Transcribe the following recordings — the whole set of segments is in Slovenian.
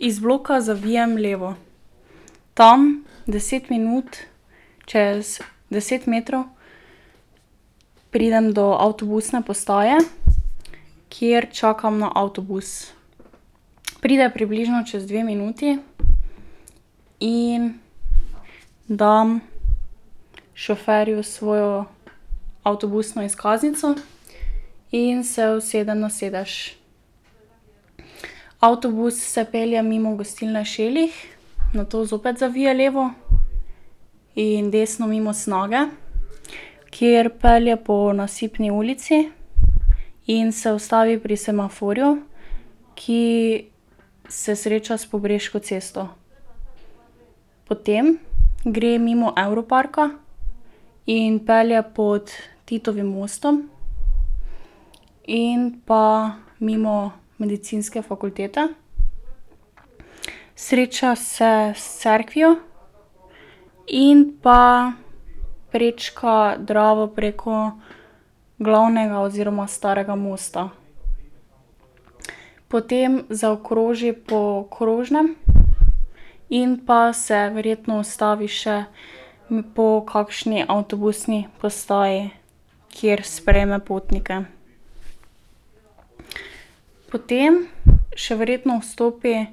Iz bloka zavijem levo. Tam, deset minut, čez deset metrov pridem do avtobusne postaje, kjer čakam na avtobus. Pride približno čez dve minuti in dam šoferju svojo avtobusno izkaznico in se usedem na sedež. Avtobus se pelje mimo gostilne Šelih, nato zopet zavije levo in desno mimo Snage, kjer pelje po Nasipni ulici in se ustavi pri semaforju, ki se sreča s Pobreško cesto. Potem gre mimo Evroparka in pelje pod Titovim mostom in pa mimo medicinske fakultete. Sreča se s cerkvijo in pa prečka Dravo preko Glavnega oziroma Starega mosta. Potem zaokroži po krožnem in pa se verjetno ustavi še po kakšni avtobusni postaji, kjer sprejme potnike. Potem še verjetno vstopi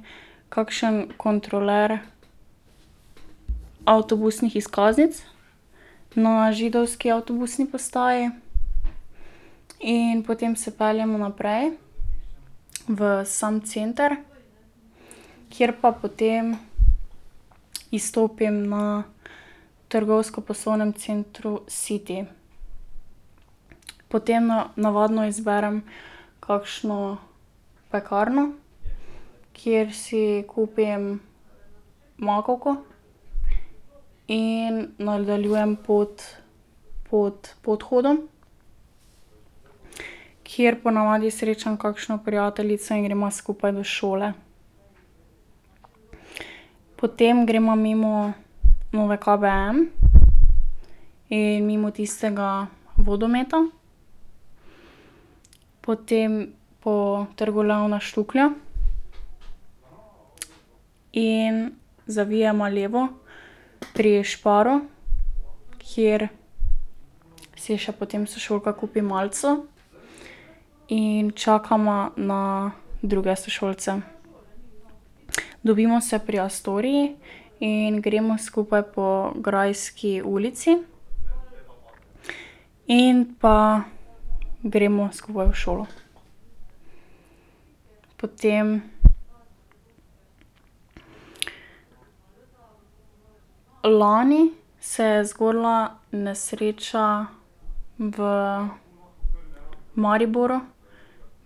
kakšen kontrolor avtobusnih izkaznic na židovski avtobusni postaji in potem se peljemo naprej v sam center, kjer pa potem izstopim na trgovsko-poslovnem centru City. Potem navadno izberem kakšno pekarno, kjer si kupim makovko, in nadaljujem pot pod podhodom, kjer ponavadi srečam kakšno prijateljico in greva skupaj do šole. Potem greva mimo Nove KBM in mimo tistega vodometa, potem po Trgu Leona Štuklja in zavijeva levo pri Šparu, kjer si še potem sošolka kupi malico in čakava na druge sošolce. Dobimo se pri Astorii in gremo skupaj po Grajski ulici in pa gremo skupaj v šolo. Potem ... Lani se je zgodila nesreča v Mariboru,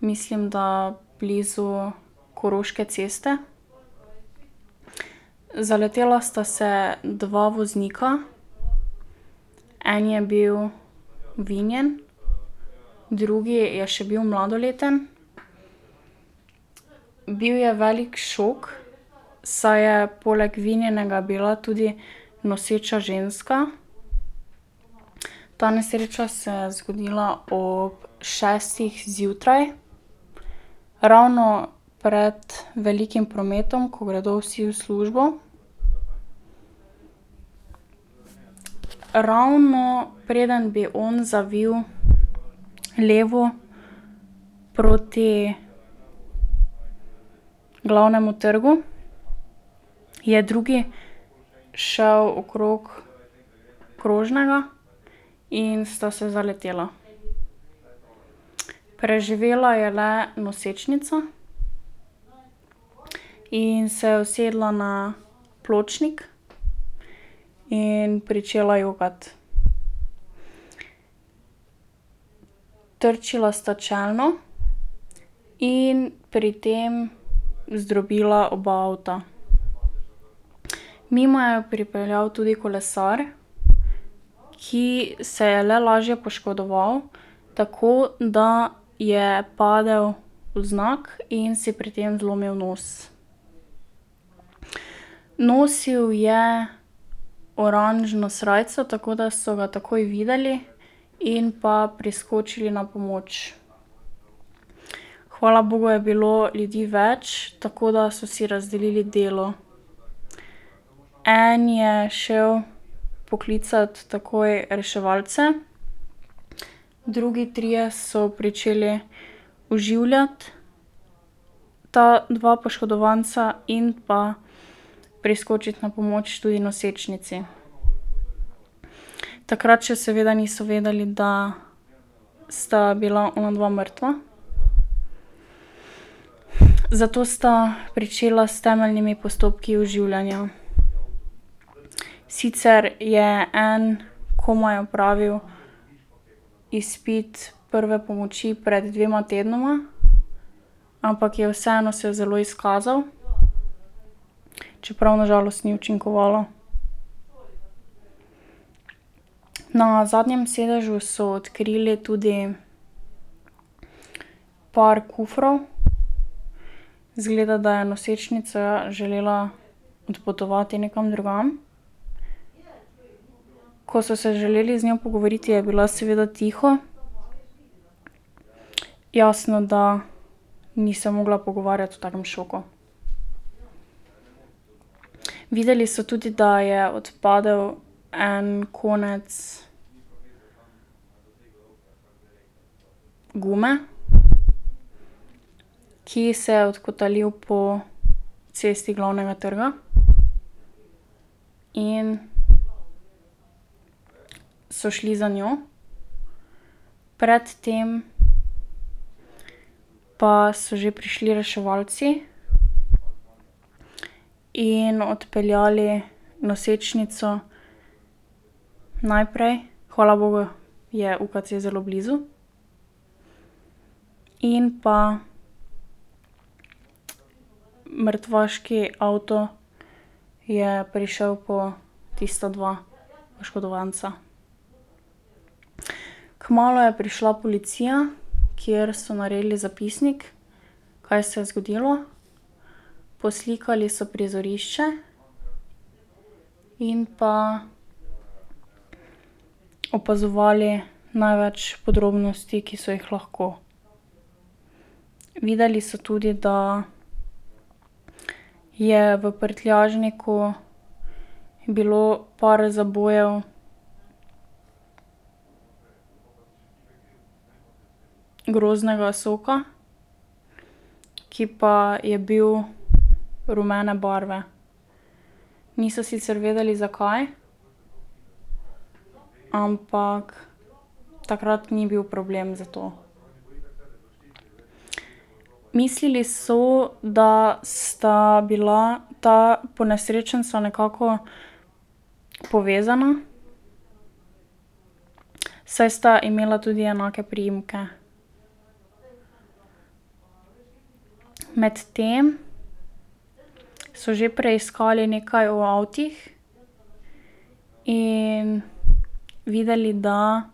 mislim, da blizu Koroške ceste, zaletela sta se dva voznika. En je bil vinjen, drugi je še bil mladoleten. Bil je velik šok, saj je poleg vinjenega bila tudi noseča ženska. Ta nesreča se je zgodila ob šestih zjutraj, ravno pred velikim prometom, ko gredo vsi v službo. Ravno preden bi on zavil levo proti Glavnemu trgu, je drugi šel okrog krožnega in sta se zaletela. Preživela je le nosečnica in se usedla na pločnik in pričela jokati. Trčila sta čelno in pri tem zdrobila oba avta. Mimo je pripeljal tudi kolesar, ki se je le lažje poškodoval, tako da je padel vznak in si pri tem zlomil nos. Nosili je oranžno srajco, tako da so ga takoj videli in pa priskočili na pomoč. Hvala bogu je bilo ljudi več, tako da so si razdelili delo. En je šel poklicat takoj reševalce, drugi trije so pričeli oživljati ta dva poškodovanca in pa priskočiti na pomoč tudi nosečnici. Takrat še seveda niso vedeli, da sta bila onadva mrtva, zato sta pričela s temeljnimi postopki oživljanja. Sicer je en komaj opravil izpit prve pomoči pred dvema tednoma, ampak je vseeno se zelo izkazal, čeprav na žalost ni učinkovalo. Na zadnjem sedežu so odkrili tudi par kufrov, izgleda, da je nosečnica želela odpotovati nekam drugam. Ko so se želeli z njo pogovoriti, je bila seveda tiho, jasno, da ni se mogla pogovarjati v takem šoku. Videli so tudi, da je odpadel en konec gume, ki se je odkotalil po cesti Glavnega trga, in so šli za njo. Pred tem pa so že prišli reševalci in odpeljali nosečnico najprej, hvala bogu, je UKC zelo blizu, in pa mrtvaški avto je prišel po tista dva poškodovanca. Kmalu je prišla policija, kjer so naredili zapisnik, kaj se je zgodilo, poslikali so prizorišče in pa opazovali največ podrobnosti, ki so jih lahko. Videli so tudi, da je v prtljažniku bilo par zabojev grozdnega soka, ki pa je bil rumene barve. Niso sicer vedeli, zakaj, ampak takrat ni bil problem za to. Mislili so, da sta bila ta ponesrečenca nekako povezana, saj sta imela tudi enake priimke. Medtem so že preiskali nekaj v avtih in videli, da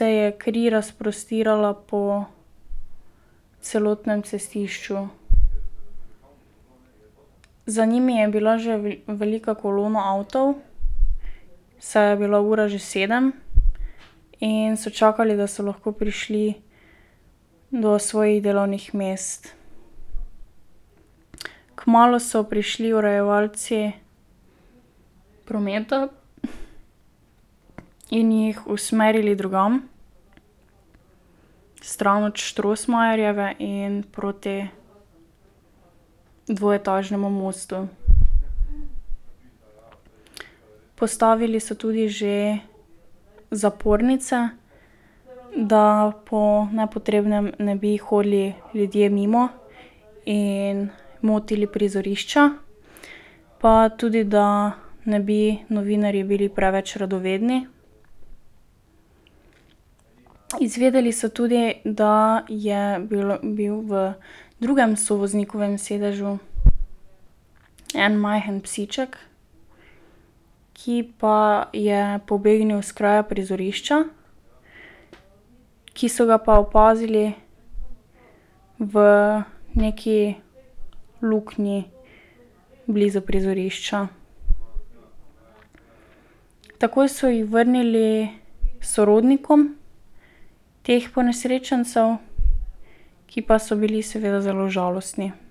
se je kri razprostirala po celotnem cestišču. Za njimi je bila že velika kolona avtov, saj je bila ura že sedem in so čakali, da so lahko prišli do svojih delovnih mest. Kmalu so prišli urejevalci prometa in jih usmerili drugam, stran od Strossmayerjeve in proti dvoetažnemu mostu. Postavili so tudi že zapornice, da po nepotrebnem ne bi hodili ljudje mimo in motili prizorišča, pa tudi da ne bi novinarji bili preveč radovedni. Izvedeli so tudi, da je bilo, bil v drugem sovoznikovem sedežu en majhen psiček, ki pa je pobegnil s kraja prizorišča, ki so ga pa opazili v neki luknji blizu prizorišča. Takoj so ji vrnili sorodnikom teh ponesrečencev, ki pa so bili seveda zelo žalostni.